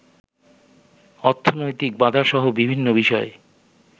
অর্থনৈতিক বাধাসহ বিভিন্ন বিষয়ে